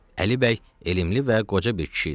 Əli bəy elmli və qoca bir kişi idi.